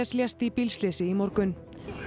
lést í bílslysi í morgun